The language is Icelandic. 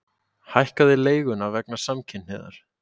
Hækkaði leiguna vegna samkynhneigðar